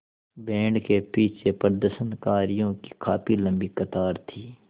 band के पीछे प्रदर्शनकारियों की काफ़ी लम्बी कतार थी